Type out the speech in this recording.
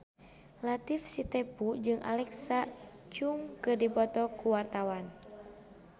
Latief Sitepu jeung Alexa Chung keur dipoto ku wartawan